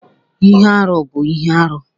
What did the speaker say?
Ihe arụ bụ ihe arụ